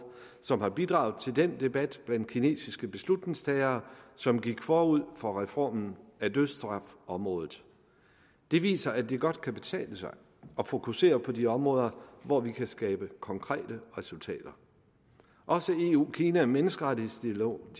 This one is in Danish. som har bidraget til den debat blandt de kinesiske beslutningstagere som gik forud for reformen af dødsstrafområdet det viser at det godt kan betale sig at fokusere på de områder hvor vi kan skabe konkrete resultater også i eu kina menneskerettighedsdialogen